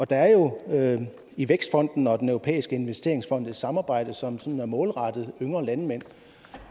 der er jo i vækstfonden og i den europæiske investeringsfond et samarbejde som som er målrettet yngre landmænd